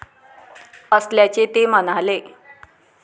असल्याचे ते म्हणाले.